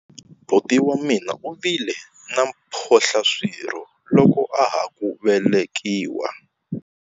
Buti wa mina u vile na mphohlaswirho loko a ha ku velekiwa.